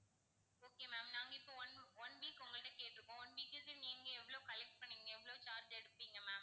okay ma'am நாங்க இப்போ one one week உங்ககிட்ட கேட்டுருக்கோம் one week க்கு நீங்க எவ்வளோ collect பண்ணுவீங்க எவ்வளோ charge எடுப்பீங்க ma'am